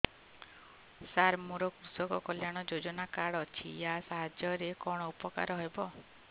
ସାର ମୋର କୃଷକ କଲ୍ୟାଣ ଯୋଜନା କାର୍ଡ ଅଛି ୟା ସାହାଯ୍ୟ ରେ କଣ ଉପକାର ହେବ